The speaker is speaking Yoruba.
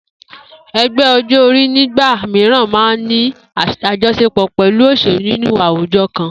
E̩gbé̩ o̩jó̩-orí nígbà mìíràn máa ń ní àjo̩s̩epò̩ pè̩lú òs̩èlú nínú àwujo̩ kan